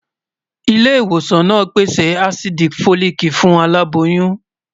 ilé ìwòsàn nà pèsè àsídí folic fún aláboyún